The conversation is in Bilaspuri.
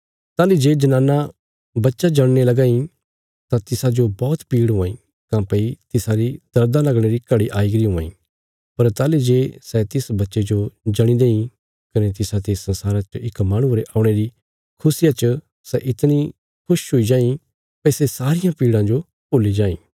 ताहली जे जनाना बच्चा जणने लगां इ तां तिसाजो बौहत पीड़ हुआं इ काँह्भई तिसारी दर्दां लगणे री घड़ी आई गरी हुआं इ पर ताहली जे सै तिस बच्चे जो जणी देईं कने तिसाते संसारा च इक माहणुये रे औणे री खुशिया च सै इतणी खुश हुई जाईं भई सै सारियां पीड़ा जो भुल्ली जाईं